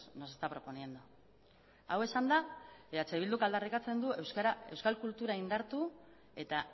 nos está proponiendo hau esanda eh bilduk aldarrikatzen du euskal kultura indartu eta